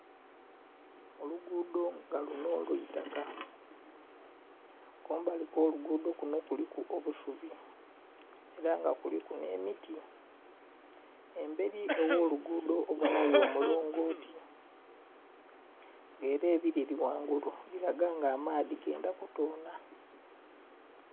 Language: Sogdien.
Oluguudho nga lunho lwa itaka. Kumbali kw'oluguudho kunho kuliku obusubi ela nga kuliku nh'emiti. Embeli gh'oluguudho obonhayo omulongooti nga ela ebileli ghangulu bilaga nga amaadhi gendha kutoonha.